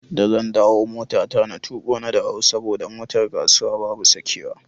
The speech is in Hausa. Da zan dawo motata na tuƙo na dawo saboda motar kasuwa babu sakewa.